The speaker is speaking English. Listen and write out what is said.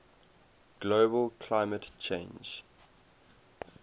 global climate change